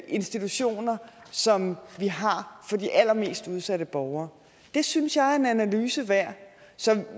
institutioner som vi har for de allermest udsatte borgere det synes jeg er en analyse værd så